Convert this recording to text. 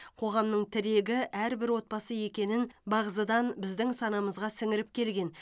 қоғамның тірегі әрбір отбасы екенін бағзыдан біздің санамызға сіңіріп келген